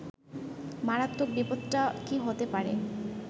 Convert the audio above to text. মারাত্মক বিপদটা কী হতে পারে